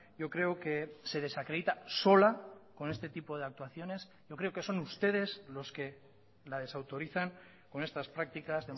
yo creo que se desacredita sola con este tipo de actuaciones yo creo que son ustedes los que la desautorizan con estas prácticas